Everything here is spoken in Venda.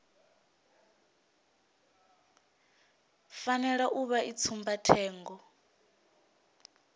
fanela u vha i tsumbathengo